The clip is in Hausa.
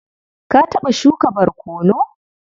Ka taɓa shuka barkono?